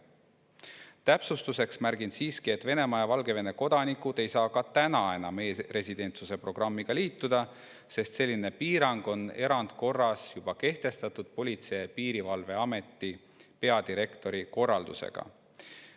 Täpsustuseks märgin siiski, et Venemaa ja Valgevene kodanikud ei saa ka täna enam e‑residentsuse programmiga liituda, sest selline piirang on erandkorras juba kehtestatud Politsei‑ ja Piirivalveameti peadirektori korraldusega.